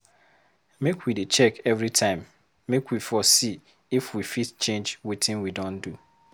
Make we dey check every time make we for see if we fit change wetin we don do.